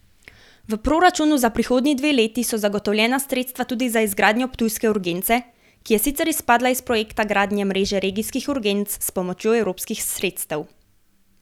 V proračunu za prihodnji dve leti so zagotovljena sredstva tudi za izgradnjo ptujske urgence, ki je sicer izpadla iz projekta gradnje mreže regijskih urgenc s pomočjo evropskih sredstev.